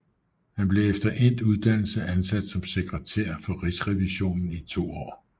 Han blev efter endt uddannelse ansat som sekretær for Rigsrevisionen i to år